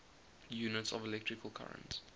units of electrical current